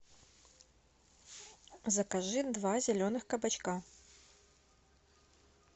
закажи два зеленых кабачка